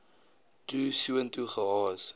toe soontoe gehaas